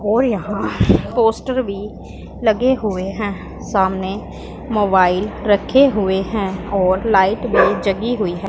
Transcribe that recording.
और यहां पोस्टर भी लगे हुएं हैं सामने मोबाइल रखे हुएं है और लाइट भी जगी हुईं हैं।